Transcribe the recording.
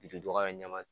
Biriduga yɛrɛ ɲɛma